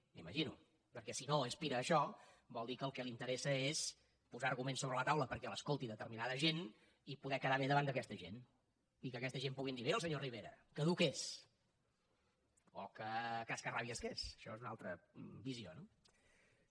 m’ho imagino perquè si no aspira a això vol dir que el que li interessa és posar arguments sobre la taula perquè l’escolti determinada gent i poder quedar bé davant d’aquesta gent i que aquesta gent puguin dir mira el senyor rivera que dur que és o que cascarrabias que és això és una altra visió no bé